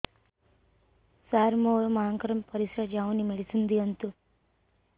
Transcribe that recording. ସାର ମୋର ମାଆଙ୍କର ପରିସ୍ରା ଯାଉନି ମେଡିସିନ ଦିଅନ୍ତୁ